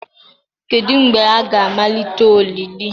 Kedu mgbe a ga-amalite olili.